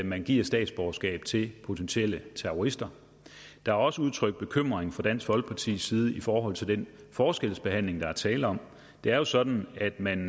man giver statsborgerskab til potentielle terrorister der er også udtrykt bekymring fra dansk folkepartis side i forhold til den forskelsbehandling der er tale om det er jo sådan at man